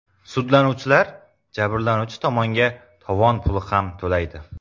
Sudlanuvchilar jabrlanuvchi tomonga tovon puli ham to‘laydi.